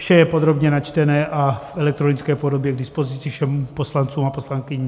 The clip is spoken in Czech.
Vše je podrobně načtené a v elektronické podobě k dispozici všem poslancům a poslankyním.